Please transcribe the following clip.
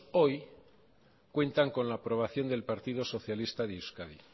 hoy cuentan con la aprobación del partido socialista de euskadi